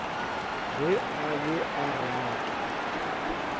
ge a be a rata